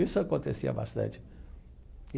Isso acontecia bastante e.